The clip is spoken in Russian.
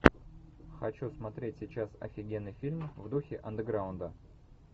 хочу смотреть сейчас офигенный фильм в духе андеграунда